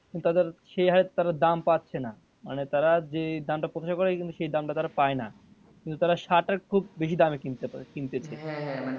তাদের সে হারে তারা দাম পাচ্ছে না মানে তারা যেই দাম টা প্রত্যাশা করে সেই দাম টা তারা পায় না কিন্তু তারা সারটা খুব বেশি দামে কিনে মানে কিনতেছে।